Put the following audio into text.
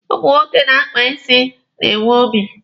Ụmụ nwoke na-akpa isi na-enwe obi.